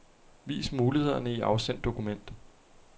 Vis mulighederne i afsend dokument.